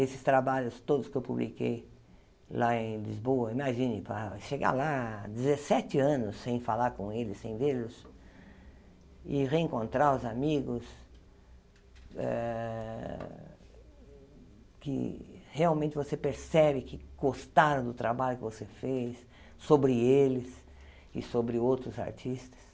Esses trabalhos todos que eu publiquei lá em Lisboa, imagine, para chegar lá, dezessete anos sem falar com eles, sem vê-los, e reencontrar os amigos ah que realmente você percebe que gostaram do trabalho que você fez sobre eles e sobre outros artistas.